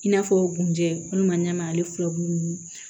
I n'a fɔ kun jɛ walima ɲamana ale furabulu nunnu